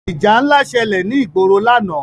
Ìjà ńlá ṣẹlẹ̀ ní ìgboro lánàá.